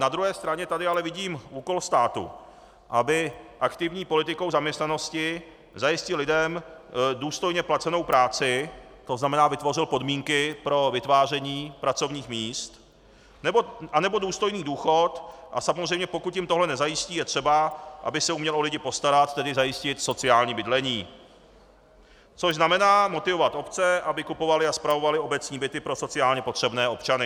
Na druhé straně tady ale vidím úkol státu, aby aktivní politikou zaměstnanosti zajistil lidem důstojně placenou práci, to znamená vytvořil podmínky pro vytváření pracovních míst a nebo důstojný důchod, a samozřejmě pokud jim tohle nezajistí, je třeba, aby se uměl o lidi postarat, tedy zajistit sociální bydlení, což znamená motivovat obce, aby kupovaly a spravovaly obecní byty pro sociálně potřebné občany.